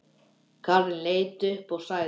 Karen leit upp og sagði